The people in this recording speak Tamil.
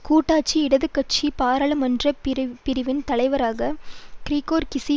கூட்டாட்சி இடது கட்சி பாராளுமன்ற பிரிவின் தலைவராக கிரிகோர் கீஸி